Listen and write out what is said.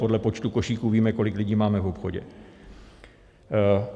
Podle počtu košíků víme, kolik lidí máme v obchodě.